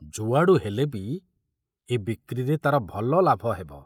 ଯୁଆଡୁ ହେଲେ ବି ଏ ବିକ୍ରିରେ ତାର ଭଲ ଲାଭ ହେବ।